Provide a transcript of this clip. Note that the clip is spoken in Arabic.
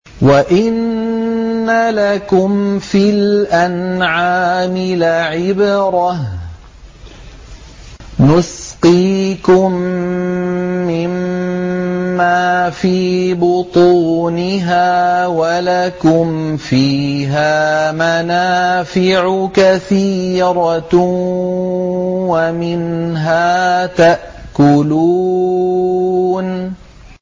وَإِنَّ لَكُمْ فِي الْأَنْعَامِ لَعِبْرَةً ۖ نُّسْقِيكُم مِّمَّا فِي بُطُونِهَا وَلَكُمْ فِيهَا مَنَافِعُ كَثِيرَةٌ وَمِنْهَا تَأْكُلُونَ